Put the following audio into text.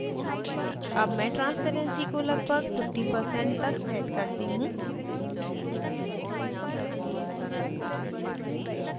अब मैं transparency को लगभग 50% तक set करती हूँ